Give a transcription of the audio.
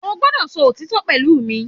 O gbọ́dọ̀ sọ òtítọ́ pẹ̀lú mi